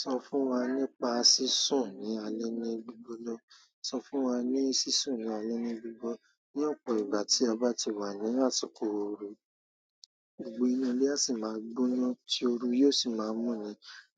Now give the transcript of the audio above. Sọ fún wà nípa sisùn ni alẹ́ ni gbigbo na sọ fún ni sisùn ní alẹ́ ni gbigbo ná ní ọ̀pọ̀ ìgbà tí a bá ti wà ní àsìkò ooru, ọ̀pọ̀ inú ilé a sì máa gbóná tí ooru yóò sì máa mú ni.